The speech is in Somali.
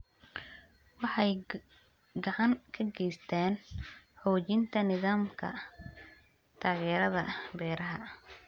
Waxay gacan ka geystaan ??xoojinta nidaamka taageerada beeraha.